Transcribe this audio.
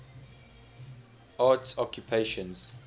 arts occupations